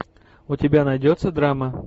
у тебя найдется драма